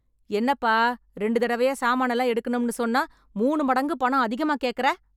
என்னப்பா ரெண்டு தடவயா சாமானெல்லாம் எடுக்கணும்னு சொன்னா, மூணு மடங்கு பணம் அதிகமா கேக்கற?